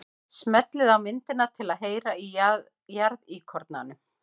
Smellið á myndina til að heyra í jarðíkornanum.